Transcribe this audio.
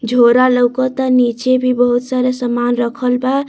झोरा लउकता नीचे भी बहुत सारा सामान रखल बा।